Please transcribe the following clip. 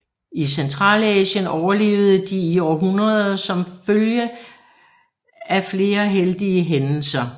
I Centralasien overlevede de i århundreder som en følge af flere heldige hændelser